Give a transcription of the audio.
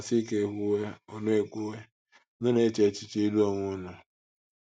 A sị ka e kwuwe, unu e kwuwe, unu na-eche echiche ịlụ onwe unu.